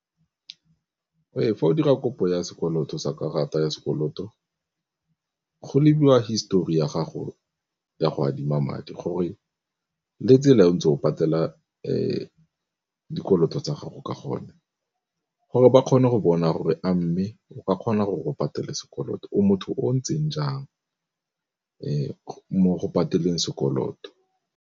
Fa o dira kopo ya sekoloto sa karata ya sekoloto go lebiwa histori ya gago ya go adima madi, gore le tsela e o ntse o patela dikoloto tsa gago ka gone. Gore ba kgone go bona gore a mme o ka kgona gore o patele sekoloto, o motho o o ntseng jang mo go pateleng sekoloto.